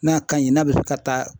N'a ka ɲi n'a bɛ se ka taa